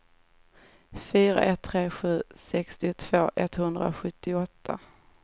fyra ett tre sju sextiotvå etthundrasjuttioåtta